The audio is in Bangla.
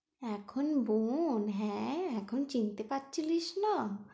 এখন বোন হ্যাঁ এখন চিনতে পারছিলিস না।